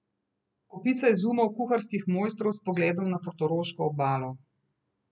Kopica izumov kuharskih mojstrov s pogledom na portoroško obalo.